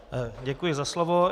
Děkuji za slovo.